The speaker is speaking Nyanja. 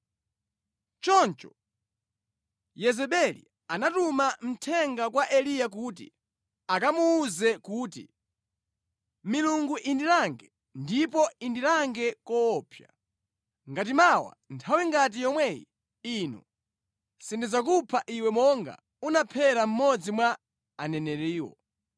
Choncho Yezebeli anatuma mthenga kwa Eliya kuti akamuwuze kuti, “Milungu indilange, ndipo indilange koopsa, ngati mawa nthawi ngati yomwe ino sindidzakupha iwe monga unaphera aneneriwo.”